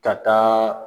Ka taa